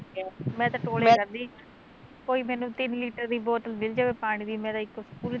ਮੈਂ ਤਾਂ ਟੋਲਿਆ ਕਰਦੀ ਕੋਈ ਮੈਨੂੰ ਤਿੰਨ ਲੀਟਰ ਦੀ ਬੋਤਲ ਮਿਲ ਜਵੇ ਪਾਣੀ ਦੀ ਮੈਂ ਤਾਂ ਇੱਕ